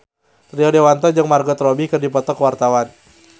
Rio Dewanto jeung Margot Robbie keur dipoto ku wartawan